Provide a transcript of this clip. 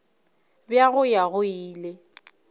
bja go ya go ile